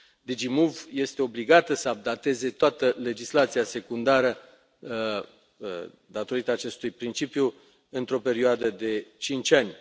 DG MOVE este obligată să updateze toată legislația secundară, datorită acestui principiu, într o perioadă de cinci ani.